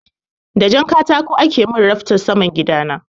Da jan katako ake min raftan saman gida na.